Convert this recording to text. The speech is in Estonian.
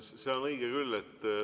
See on õige küll.